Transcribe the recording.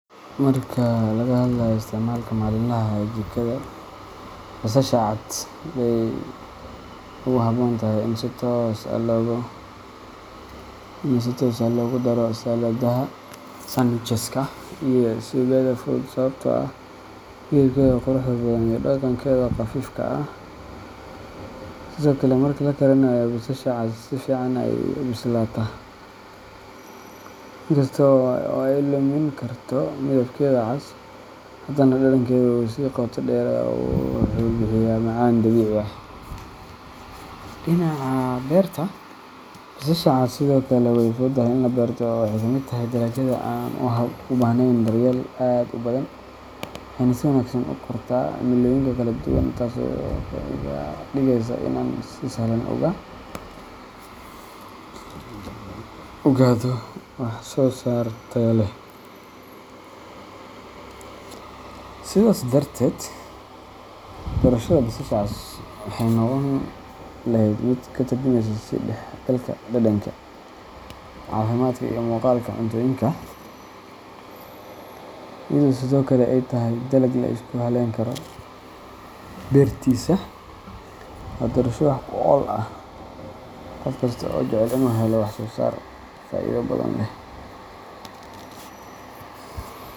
Marka laga hadlayo isticmaalka maalinlaha ah ee jikada, basasha cas aad bay ugu habboon tahay in si toos ah loogu daro saladaha, sandwiches-ka, iyo suugada fudud sababtoo ah midabkeeda quruxda badan iyo dhadhankeeda khafiifka ah. Sidoo kale, marka la karinaayo, basasha cas si fiican ayay u bislaataa, in kasta oo ay lumin karto midabkeeda cas, haddana dhadhankeedu wuu sii qoto dheeraadaa oo wuxuu bixiyaa macaan dabiici ah. Dhinaca beerta, basasha cas sidoo kale way fududahay in la beerto oo ay ka mid tahay dalagyada aan u baahnayn daryeel aad u badan, waxayna si wanaagsan ugu kortaa cimilooyinka kala duwan, taasoo iga dhigeysa in aan si sahlan u gaadho wax-soo-saar tayo leh. Sidaas darteed, doorashada basasha cas waxay noqon lahayd mid ka turjumaysa is dhexgalka dhadhanka, caafimaadka iyo muuqaalka cuntooyinka, iyadoo sidoo kale ay tahay dalag la isku halleyn karo beertiisa. Waa doorasho wax ku ool ah qof kasta oo jecel inuu helo wax soo saar faa’iido badan leh.